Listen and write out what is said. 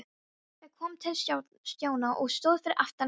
Pabbi kom til Stjána og stóð fyrir aftan hann.